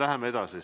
Nii, läheme edasi.